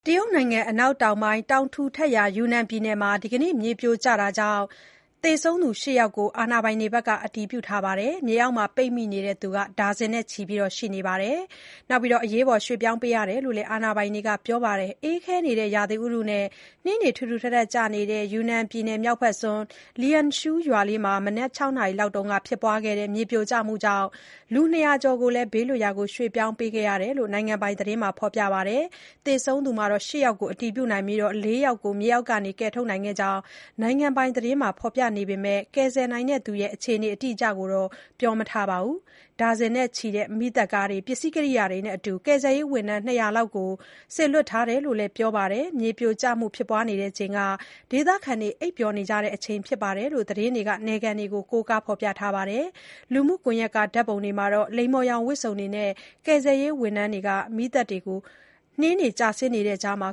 တရုတ်နိုင်ငံ အနောက်တောင်ပိုင်း တောင်ထူထပ်ရာ ယူနန်ပြည်နယ်မှာ ဒီကနေ့ မြေပြိုမှုကြောင့် သေဆုံးသူ ၈ ယောက်ကို အာဏာပိုင်တွေ အတည်ပြုထားပြီး၊ မြေအောက်ပိတ်မိနေသူတွေလည်း ဒါဇင်နဲ့ချီ ရှိနေပါတယ်။ ပြောင်းရွှေ့ပေးထားရကြောင်း အာဏာပိုင်တွေက ပြောပါတယ်။ အေးခဲနေတဲ့ ရာသီဥတုနဲ့ နှင်းတွေကျနေချိန် ယူနန်ပြည်နယ် မြောက်ဘက်စွန်း Liangshui ရွာမှာ မနက် ၆ နာရီလောက်က ဖြစ်ပွားတဲ့ မြေပြိုမှုကြောင့် လူ ၂၀၀ ကျော်ကိုလည်း ဘေးလွတ်ရာ ရွှေ့ပြောင်းပေးထားရကြောင်း နိုင်ငံပိုင် သတင်းက ဖော်ပြခဲ့တာပါ။ သေဆုံးသူ ၈ ယောက်ကို အတည်ပြုနိုင်ပြီး ၄ ယောက်ကို မြေအောက်က ကယ်ထုတ်နိုင်ခဲ့ကြောင်းလည်း နိုင်ငံပိုင် CCTV သတင်းက ဖော်ပြပေမဲ့ ကယ်ဆယ်နိုင်တဲ့သူတွေရဲ့ အခြေအနေ အတိအကျကိုတော့ မပြောပါဘူး။ ဒါဇင်နဲ့ချီတဲ့ မီးသတ်ကားတွေ ပစ္စည်းကရိယာတွေနဲ့အတူ ကယ်ဆယ်ရေးဝန်ထမ်း ၂၀၀ လောက် စေလွှတ်ထားတယ်လို့လည်း ပြောပါတယ်။ မြေပြိုမှု ဖြစ်ပွားချိန်မှာ ဒေသခံတွေ အိပ်နေကြတဲ့ အချိန်ဖြစ်တယ်လို့လည်း သတင်းတွေက နယ်ခံတွေကို ကိုးကားဖော်ပြခဲ့တာပါ။ လူမှုကွန်ရက်က ဓာတ်ပုံတွေမှာတော့ လိမ္မော်ရောင် ဝတ်စုံတွေနဲ့ ကယ်ဆယ်ရေး ဝန်ထမ်းတွေ မီးသတ်တွေကို နှင်းတွေကျဆင်းနေတဲ့ကြားမှာ